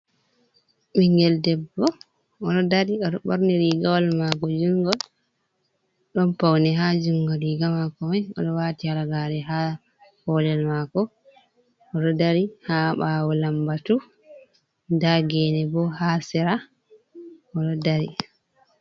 Ɓingel debbo oɗo dari ɓornirigawal mako jungol, ɗon pauni ha jungo riga mako mai, oɗo wati halagare ha kolel mako, oɗo dari ha ɓawo lambatu ndagene bo ha sera oɗo dari.